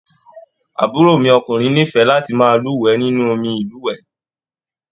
Àbúrò mi ọkùnrin n'ifẹ láti máa luwẹ̀ nínú omí ilúwẹ.